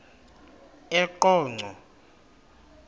eqonco